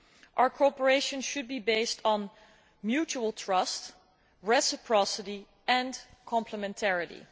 Our cooperation should be based on mutual trust, reciprocity and complementarity.